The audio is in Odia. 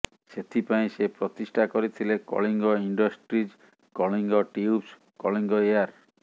ସେଥିପାଇଁ ସେ ପ୍ରତିଷ୍ଠା କରିଥିଲେ Kalinga industries Kalinga tubes Kalinga air